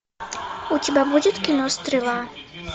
у тебя будет кино стрела